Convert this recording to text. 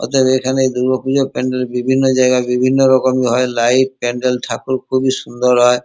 ওদের এখানে দূর্গা পুজোর প্যান্ডেল বিভিন্ন জায়গায় বিভিন্ন রকমের হয় লাইট প্যান্ডেল ঠাকুর খুবই সুন্দর হয়।